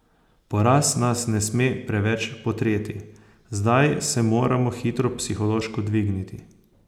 Poraz nas ne sme preveč potreti, zdaj se moramo hitro psihološko dvigniti.